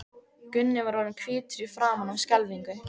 Gunni var orðinn hvítur í framan af skelfingu.